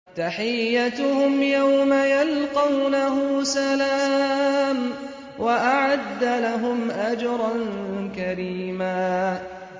تَحِيَّتُهُمْ يَوْمَ يَلْقَوْنَهُ سَلَامٌ ۚ وَأَعَدَّ لَهُمْ أَجْرًا كَرِيمًا